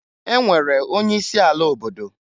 E nwere onye isi ala obodo.